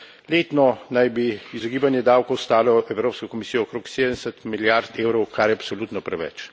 Letno naj bi izogibanje davkov stalo Evropsko komisijo okrog 70 milijard eurov, kar je absolutno preveč.